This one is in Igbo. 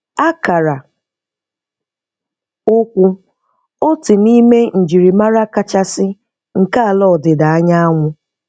Akara ụkwụ, otu n'ime njirimara kachasị nke ala ọdịda anyanwụ